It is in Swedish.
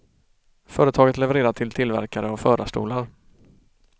Företaget levererar till tillverkare av förarstolar.